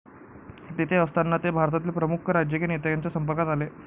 तेथे असताना ते भारतातील प्रमुख राजकीय नेत्यांच्या संपर्कात आले